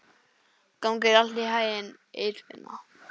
Gangi þér allt í haginn, Eirfinna.